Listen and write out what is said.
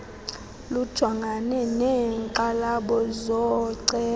lujongane neenkxalabo zooceba